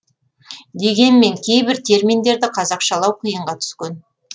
дегенмен кейбір терминдерді қазақшалау қиынға түскен